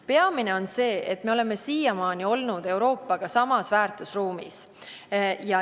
Peamine on see, et me oleme siiamaani olnud Euroopaga samas väärtusruumis.